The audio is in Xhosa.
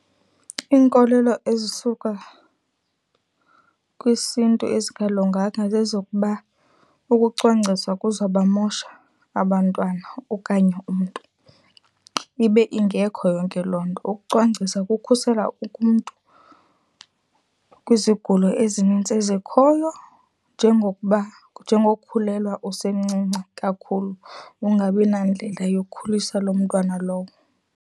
Iinkolelo ezisuka kwisiNtu ezingalunganga zezokuba ukucwangcisa kuzawubamosha abantwana okanye umntu, ibe ingekho yonke loo nto. Ukucwangcisa kukhusela umntu kwizigulo ezinintsi ezikhoyo, njengokuba, njengokukhulelwa usemncinci kakhulu ungabi nandlela yokukhulisa loo mntwana lowo.